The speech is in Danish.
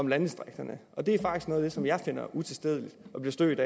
landdistrikterne det er faktisk noget som jeg finder utilstedeligt og bliver stødt